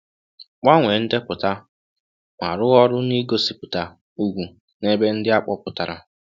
Gbanwee ndepụta, ma rụọ ọrụ n’ịgosipụta ùgwù n’ebe ndi a kpọpụtara.